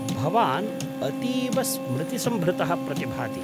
भवान् अतीव स्मृतिसम्भृतः प्रतिभाति।